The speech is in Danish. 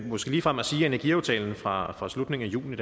måske ligefrem at sige at energiaftalen fra fra slutningen af juni